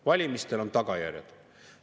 " Valimistel on tagajärjed!